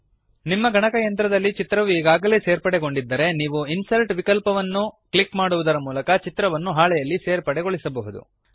ನಿಮ್ಮ ಗಣಕಯಂತ್ರದಲ್ಲಿ ಚಿತ್ರವು ಈಗಾಗಲೇ ಸೇರ್ಪಡೆಗೊಂಡಿದ್ದರೆ ನೀವು ಇನ್ಸರ್ಟ್ ವಿಕಲ್ಪವನ್ನು ಕ್ಲಿಕ್ ಮಾಡುವುದರ ಮೂಲಕ ಚಿತ್ರವನ್ನು ಹಾಳೆಯಲ್ಲಿ ಸೇರ್ಪಡೆಗೊಳಿಸಬಹುದು